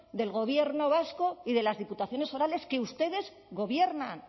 del gobierno vasco y de las diputaciones forales que ustedes gobiernan